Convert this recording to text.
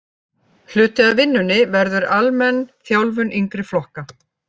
Hluti af vinnunni verður almenn þjálfun yngri flokka.